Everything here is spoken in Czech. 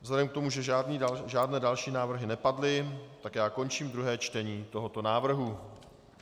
Vzhledem k tomu, že žádné další návrhy nepadly, tak já končím druhé čtení tohoto návrhu.